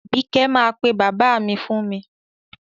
Àbíkẹ́ máa pe bàbá mi fún mi.